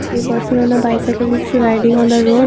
a person on the bicycle is riding on the road.